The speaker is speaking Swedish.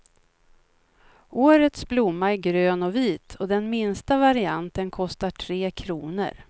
Årets blomma är grön och vit och den minsta varianten kostar tre kronor.